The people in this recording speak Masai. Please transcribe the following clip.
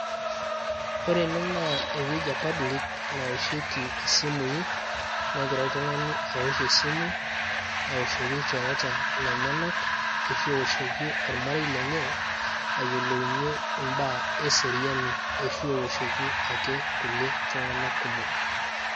Ore ene naa ewueji e public nawoshieki isimui. Negira oltung'ani awosh esimu, awoshoki ilchoreta lenyanak. Ashu ewoshoki ormarei lenye ayiolounye imbaa eseriani. Ashu ewoshoki ake kulie tung'anak kumok.